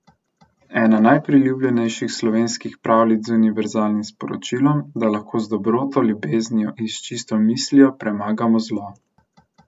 Ena najpriljubljenejših slovenskih pravljic z univerzalnim sporočilom, da lahko z dobroto, ljubeznijo in s čisto mislijo premagamo zlo.